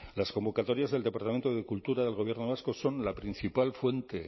las convocatorias del departamento de cultura del gobierno vasco son la principal fuente